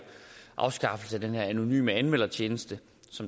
afskaffelse af den anonyme anmeldertjeneste